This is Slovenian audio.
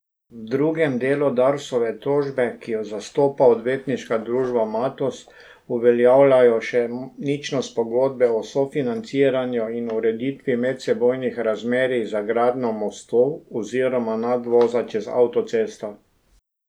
V drugem delu Darsove tožbe, ki jo zastopa Odvetniška družba Matoz, uveljavljajo še ničnost pogodbe o sofinanciranju in ureditvi medsebojnih razmerij za gradnjo mostu oziroma nadvoza čez avtocesto.